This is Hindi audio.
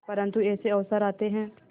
परंतु ऐसे अवसर आते हैं